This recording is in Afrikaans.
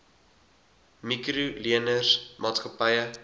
mikro leners maatskappye